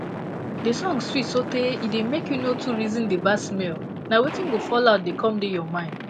de song swit so tay e da make u no too reason the bad smell na wetin go fallout da come da your mind